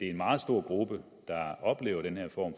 en meget stor gruppe der oplever den her form